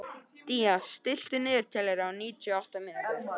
Día, stilltu niðurteljara á níutíu og átta mínútur.